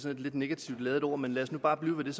et lidt negativt ladet ord men lad os nu bare blive ved det